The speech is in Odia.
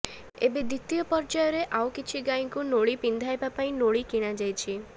ଏବେ ଦ୍ବିତୀୟ ପର୍ଯ୍ୟାୟରେ ଆଉ କିଛି ଗାଈଙ୍କୁ ନୋଳି ପିନ୍ଧାଇବା ପାଇଁ ନୋଳି କିଣାଯାଇଛି